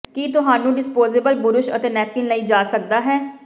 ਕੀ ਤੁਹਾਨੂੰ disposable brush ਅਤੇ napkin ਲਈ ਜਾ ਸਕਦਾ ਹੈ